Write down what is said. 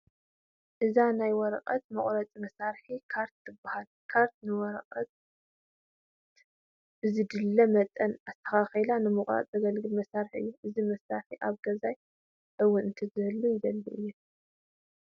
እዛ ናይ ወረቐት መቑረፂ መሳርሒ ካትር ትበሃል፡፡ ካተር ንወረቓቕቲ ብዝድለ መጠን ኣስተኻኺልካ ንምቑራፅ ተገልግል መሳርሒ እያ፡፡ እዚ መሳርሒ ኣብ ገዛይ እውን ክትህሉ ይደሊ እየ፡፡